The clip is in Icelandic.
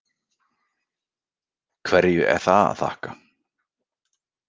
Hverju er það að þakka?